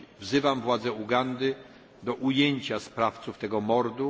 Wzywam władze Ugandy do ujęcia sprawców tego mordu.